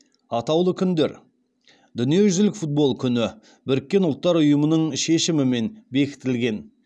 атаулы күндер дүниежүзілік футбол күні біріккен ұлттар ұйымының шешімімен бекітілген